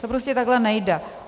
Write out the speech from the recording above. To prostě takhle nejde.